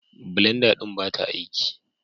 Blenda ɗin ba ta aiki